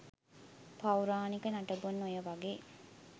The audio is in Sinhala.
පෞරාණික නටබුන් ඔය වගේ